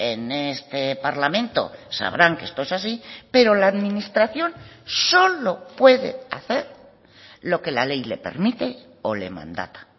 en este parlamento sabrán que esto es así pero la administración solo puede hacer lo que la ley le permite o le mandata